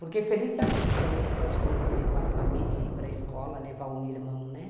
Porque feliz daqueles também que podem conviver com a família, ir para a escola, levar um irmão.